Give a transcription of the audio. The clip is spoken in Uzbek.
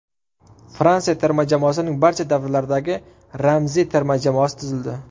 Fransiya terma jamoasining barcha davrlardagi ramziy terma jamoasi tuzildi.